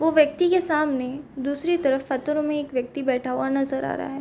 वो व्यक्ति के सामने दूसरी तरफ पत्थरो में एक व्यक्ति बैठा हुआ नज़र आ है।